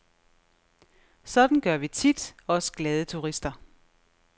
Sådan gør vi tit, os glade turister.